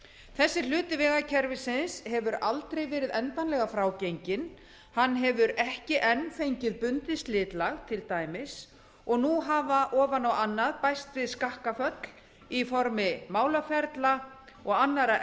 þessi hluti vegakerfisins hefur aldrei verið endanlega frágenginn hann hefur ekki enn fengið bundið slitlag til dæmis og nú hafa ofan á annað bæst við skakkaföll í formi málaferla og annarra